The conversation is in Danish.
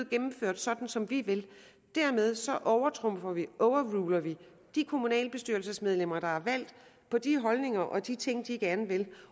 gennemført sådan som vi vil dermed så overtrumfer og overruler vi de kommunalbestyrelsesmedlemmer der er valgt på de holdninger og de ting de gerne vil